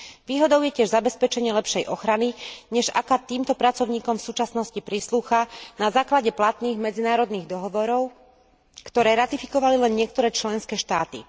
Výhodou je tiež zabezpečenie lepšej ochrany, než aká týmto pracovníkom v súčasnosti prislúcha, na základe platných medzinárodných dohovorov, ktoré ratifikovali len niektoré členské štáty.